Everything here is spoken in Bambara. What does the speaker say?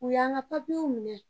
U yan ka papirew minɛ.